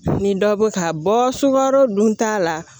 Ni dɔ bɛ ka bɔ sukaro dun t'a la